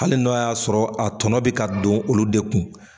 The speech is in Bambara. Hali n'a y'a sɔrɔ a tɔnɔ be ka don olu de kun